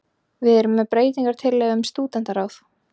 Við erum með breytingartillögu um stúdentaráð